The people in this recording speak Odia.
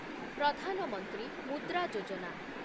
ପ୍ରଧାନ ମନ୍ତ୍ରୀ ମୁଦ୍ରା ଯୋଜନା